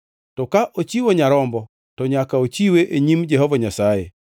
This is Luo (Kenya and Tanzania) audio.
To ka ochiwo nyarombo, to nyaka ochiwe e nyim Jehova Nyasaye.